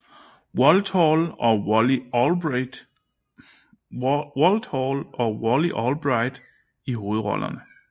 Walthall og Wally Albright i hovedrollerne